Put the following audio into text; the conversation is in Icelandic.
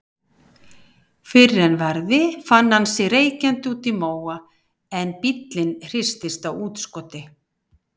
Fyrr en varði fann hann sig reykjandi úti í móa en bíllinn hristist á útskoti.